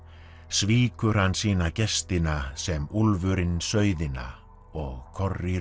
svíkur hann sína gestina sem úlfurinn sauðina og